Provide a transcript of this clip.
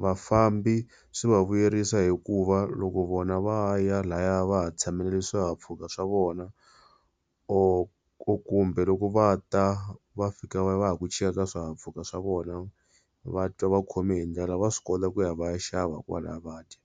Vafambi swi va vuyerisa hikuva loko vona va ya lahaya, va ha tshamelele swihahampfhuka swa vona or kumbe loko va ta va fika va ha ku chika ka swihahampfhuka swa vona va twa va khome hi ndlala va swi kota ku ya va ya xava kwalahaya va dya.